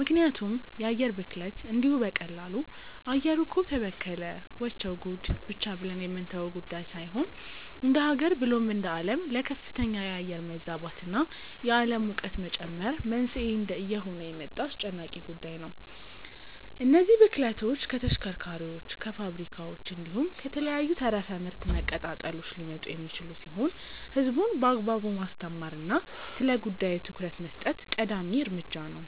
ምክንያቱም የአየር ብክለት እንዲሁ በቀላሉ “አየሩ እኮ ተበከለ… ወቸው ጉድ” ብቻ ብለን የምንተወው ጉዳይ ሳይሆን እንደሃገር ብሎም እንደአለም ለከፍተኛ የአየር መዛባት እና የአለም ሙቀት መጨመር መንስኤ እየሆነ የመጣ አስጨናቂ ጉዳይ ነው። እነዚህ ብክለቶች ከተሽከርካሪዎች፣ ከፋብሪካዎች፣ እንዲሁም ከተለያዩ ተረፈ ምርት መቀጣጠሎች ሊመጡ የሚችሉ ሲሆን ህዝቡን በአግባቡ ማስተማር እና ስለጉዳዩ ትኩረት መስጠት ቀዳሚ እርምጃ ነው።